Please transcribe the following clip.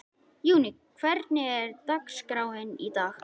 Júní, hvernig er dagskráin í dag?